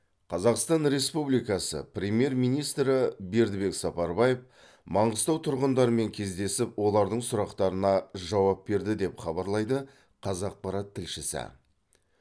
қазақстан республикасы премьер министрі бердібек сапарбаев маңғыстау тұрғындарымен кездесіп олардың сұрақтарына жауап берді деп хабарлайды қазақпарат тілшісі